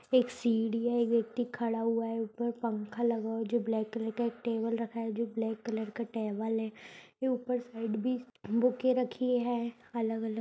एक सीढ़ी है एक व्यक्ति खड़ा हुआ है ऊपर पंखा लगा हुआ है जो ब्लैक कलर का है एक टेबल रखा है जो ब्लैक कलर का टेबल है ये ऊपर साइड भी बुके रखी है अलग-अलग --